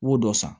I b'o dɔ san